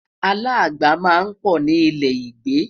alaagba má n pò ní ilẹ igbe